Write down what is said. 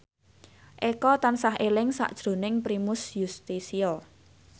Eko tansah eling sakjroning Primus Yustisio